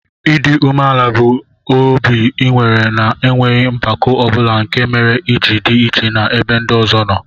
Idi umeala bu obi inwere na enweghi mpako obula nke mere iji di iche na ebe ndi ọzọ noo.